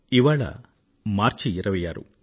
ఇవాళ మార్చి 26